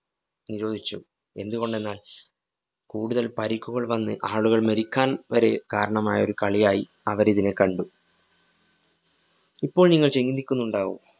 നിരോധിച്ചു. എന്തുകൊണ്ടെന്നാല്‍ കൂടുതല്‍ പരിക്കുകള്‍ വന്ന് ആളുകള്‍ മരിക്കാന്‍ വരെ കാരണമായ ഒരു കളിയായി അവരിതിനെ കണ്ടു. ഇപ്പോള്‍ നിങ്ങള്‍ ചിന്തിക്കുന്നുണ്ടാവും